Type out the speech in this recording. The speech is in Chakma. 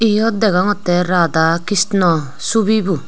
eyot degongottey rada krishna chobi bu.